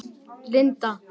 Linda